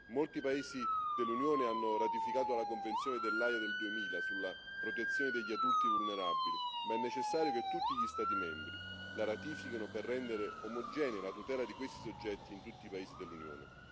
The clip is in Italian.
Molti paesi dell'Unione hanno ratificato la Convenzione dell'Aia del 2000 sulla protezione degli adulti vulnerabili, ma è necessario che tutti gli Stati membri la ratifichino per rendere omogenea la tutela di questi soggetti in tutti i paesi dell'Unione.